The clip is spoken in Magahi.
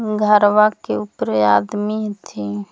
घरवा के उपरे आदमी हथि।